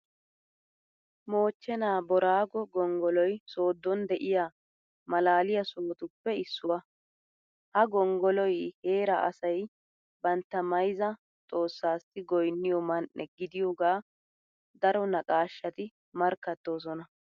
Moochchenaa booraago gonggoloy sooddon de'iya maalaaliya sohotuppe issuwa. Ha gonggoloy heeraa asay bantta mayzza xoossaassi goynniyo man"e gidiyogaa daro naqaashati markkattoosona.